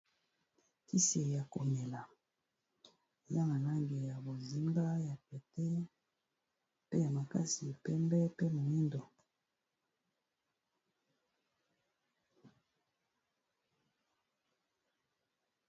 Kisi ya komela eza na langi ya bozinga ya pete pe ya makasi pembe pe moyindo.